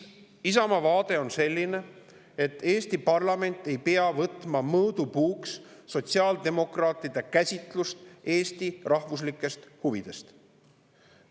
Isamaa vaade on selline, et Eesti parlament ei pea võtma mõõdupuuks sotsiaaldemokraatide käsitlust Eesti rahvuslikest huvidest.